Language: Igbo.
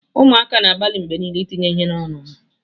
Ụmụaka na-agbalị mgbe niile itinye ihe n'ọnụ ha.